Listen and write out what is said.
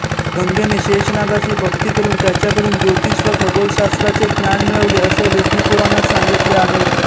गंगेने शेष नागाची भक्ती करुन त्याच्याकडून ज्योतिष व खगोलशास्त्राचे ज्ञान मिळवले असं विष्णुपुराणात सांगितले आहे